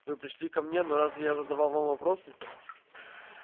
вы пришли ко мне но разве я задавал вам вопросы